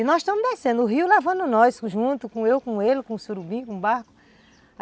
E nós estamos descendo o rio, lavando nós juntos, eu com ele, com o surubim, com o barco.